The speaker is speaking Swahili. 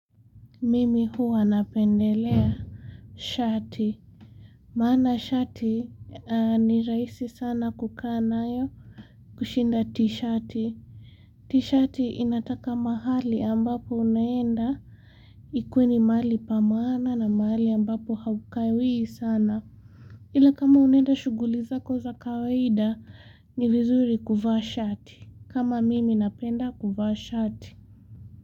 Mimi huwa napendelea shati. Maana shati ni rahisi sana kukaa nayo kushinda t-shati. T-shati inataka mahali ambapo unaenda, ikue ni mali pa maana na mahali ambapo haukawii sana. Ila kama unaenda shughuli zako za kawaida ni vizuri kuvaa shati. Kama mimi napenda kuvaa shati.